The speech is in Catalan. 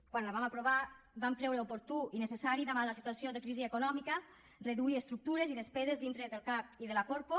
quan la vam aprovar vam creure oportú i necessari davant la situació de crisi econòmica reduir estructures i despeses dintre del cac i de la corpo